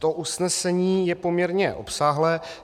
To usnesení je poměrně obsáhlé.